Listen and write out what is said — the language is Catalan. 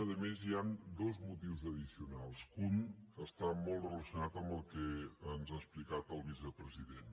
a més hi han dos motius addicionals que un està molt relacionat amb el que ens ha explicat el vicepresident